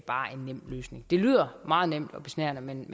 en nem løsning det lyder meget nemt og besnærende men